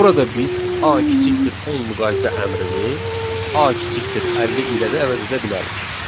Burada biz A < 10 müqayisə əmrini A < 50 ilə də əvəz edə bilərik.